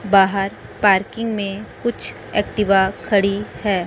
बाहर पार्किंग में कुछ एक्टिवा खड़ी है।